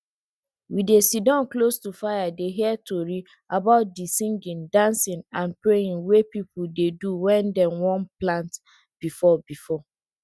we dey sitdon close to fire dey hear tori about dey singing dancing and praying wey people dey do wen dem wan plant before before